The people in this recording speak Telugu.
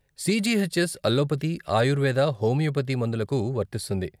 సీజీహెచ్ఎస్ అల్లోపతీ, ఆయుర్వేద, హోమియోపతి మందులకు వర్తిస్తుంది.